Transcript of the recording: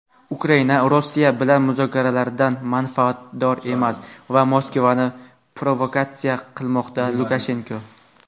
Ukraina Rossiya bilan muzokaralardan manfaatdor emas va Moskvani provokatsiya qilmoqda – Lukashenko.